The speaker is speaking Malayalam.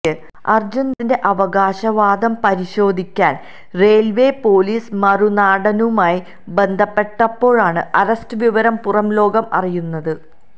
അർജുൻ ദാസിന്റെ അവകാശ വാദം പരിശോധിക്കാൻ റെയിൽവേ പൊലീസ് മറുനാടനുമായി ബന്ധപ്പെട്ടപ്പോഴാണ് അറസ്റ്റ് വിവരം പുറം ലോകം അറിയുന്നത്